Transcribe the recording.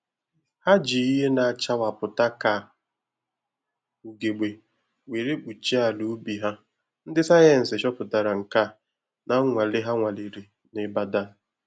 Ha ji ihe na achawapụta ka ugegbe were kpuchie ala ubi ha. Ndị sayensị chọpụtara nke a na nnwale ha nwalere na Ịbadan